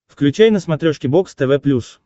включай на смотрешке бокс тв плюс